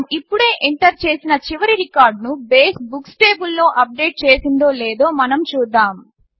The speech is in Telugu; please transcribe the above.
మనము ఇప్పుడే ఎంటర్ చేసిన చివరి రికార్డ్ను బేస్ బుక్స్ టేబుల్లో అప్డేట్ చేసిందో లేదో మనం చూద్దాము